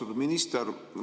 Austatud minister!